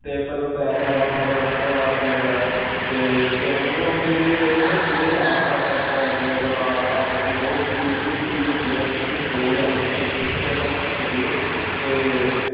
ਤੇ ਮਤਲਬ back glass ਵੀ ਹੈਗਾ front glass ਵੀ ਹੈਗਾ ਹੈ ਤੇ ਇਸ ਤੇ ਉਹ ਨੀ ਹੁੰਦੀ ਜਿਹੜੀ ਇਹ ਨਾ ਜਿਹੜੀ ਇਹਦੇ ਆਸਪਾਸ ਹੈ phone ਦੇ ਮਤਲਬ ਆਸਪਾਸ ਲੱਗੀ ਹੈ ਉਹ stain ਜਿਹੀ steel ਹੁੰਦੀ ਆ ਉਹ 'ਚ ਕੁਛ ਕੁਛ ਬੋਲਦੇ ਆ ਉਹਨੂੰ stain stainless steel ਹੁੰਦੀ ਹੈ ਤੇ